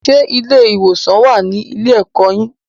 Ṣé ilé-ìwòsàn wà á ní ilé-ẹ̀kọ́ yín